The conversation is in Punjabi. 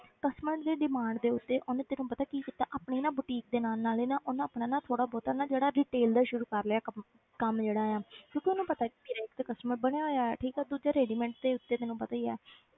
Customer ਦੀ demand ਦੇ ਉੱਤੇ ਉਹਨੇ ਤੈਨੂੰ ਪਤਾ ਕੀ ਕੀਤਾ ਆਪਣੀ ਨਾ boutique ਦੇ ਨਾਲ ਨਾਲ ਹੀ ਨਾ ਉਹਨੇ ਆਪਣਾ ਨਾ ਥੋੋੜ੍ਹਾ ਬਹੁਤਾ ਨਾ ਜਿਹੜਾ retail ਦਾ ਸ਼ੁਰੂ ਕਰ ਲਿਆ ਕੰਮ ਕੰਮ ਜਿਹੜਾ ਆ ਕਿਉਂਕਿ ਉਹਨੂੰ ਪਤਾ ਵੀ ਮੇਰੇ ਇੱਕ ਤੇ customer ਬਣੇ ਹੋਏ ਆ ਠੀਕ ਹੈ ਦੂਜੇ readymade ਦੇ ਉੱਤੇ ਤੈਨੂੰ ਪਤਾ ਹੀ ਆ,